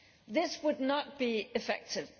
This would not be effective.